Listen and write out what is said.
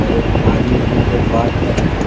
एक आदमी फोन पे बात कर रहा।